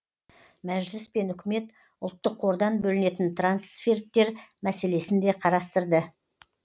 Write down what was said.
мәжіліс пен үкімет ұлттық қордан бөлінетін трансферттер мәселесін де қарастырды